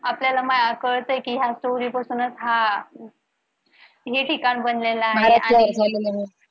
आपल्याला मग कळतंय कि ह्या story पासूनच हा हे ठिकाण बनलेल आहे. आणि